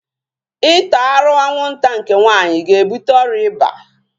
Ịta arụ anwụnta nke nwaanyị ga-ebuta ọrịa iba